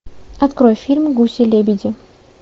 открой фильм гуси лебеди